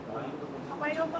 Aha yox, Xankəndliyəm.